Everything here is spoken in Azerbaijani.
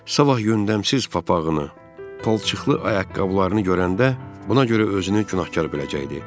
Sabah yündəmsiz papağını, palçıqlı ayaqqabılarını görəndə buna görə özünü günahkar biləcəkdi.